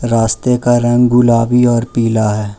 रस्ते का रंग गुलाबी और पीला है।